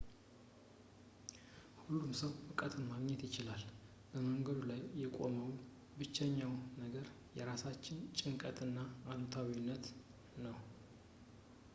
ሁሉም ሰው ዕውቀትን ማግኘት ይችላል በመንገዱ ላይ የቆመው ብቸኛ ነገር የራሳችን ጭንቀት እና አሉታዊነት ነው